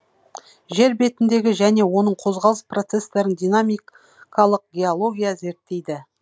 жер бетіндегі және оның қозғалыс процестерін динамикалық геология зерттейді